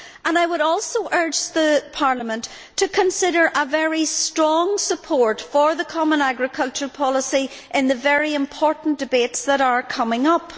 I would also urge Parliament to consider very strong support for the common agricultural policy in the very important debates that are coming up.